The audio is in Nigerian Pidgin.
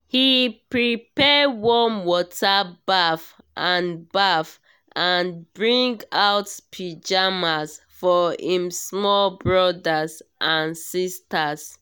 he prepare warm water baff and baff and bring out pyjamas for him small brothers and sisters.